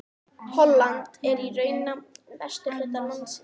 Holland er í raun nafn á vesturhluta landsins.